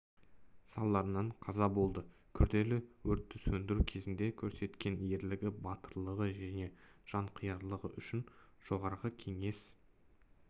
салдарынан қаза болды күрделі өртті сөндіру кезінде көрсеткен ерлігі батырлығы мен жанқиярлығы үшін жоғарғы кеңес